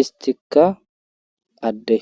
istikka adde